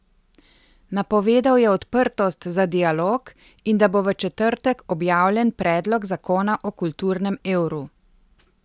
Napovedal je odprtost za dialog in da bo v četrtek objavljen predlog zakona o kulturnem evru.